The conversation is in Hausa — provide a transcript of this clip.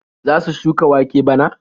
Za su shuka wake bana?